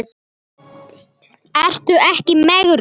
Ertu ekki í megrun?